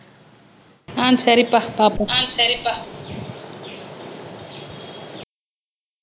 ஆஹ் சரிப்பா பார்ப்போம் அஹ் சரிப்பா